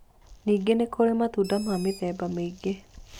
Ningĩ nĩ kũrĩ matunda ma mĩthemba mĩingĩ